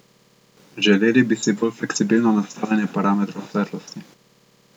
Želeli bi si bolj fleksibilno nastavljanje parametrov svetlosti.